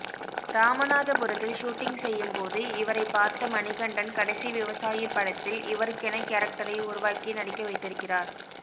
இராமநாதபுரத்தில் shooting செய்யும் போது இவரைப்பார்த்த மணிகண்டன் கடைசி விவசாயி படத்தில் இவருக்கென கேரக்டரை உருவாக்கி நடிக்க வைத்திருக்கிறார்